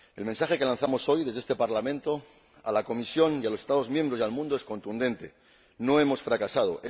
El mensaje que lanzamos hoy desde este Parlamento a la Comisión, a los Estados miembros y al mundo es contundente no hemos fracasado.